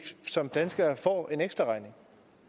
som danskere ikke får en ekstraregning